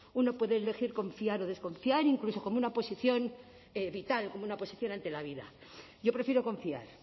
uno puede elegir confiar o desconfiar incluso como una posición vital como una posición ante la vida yo prefiero confiar